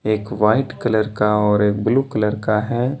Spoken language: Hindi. एक वाइट कलर का और एक ब्ल्यू कलर का है।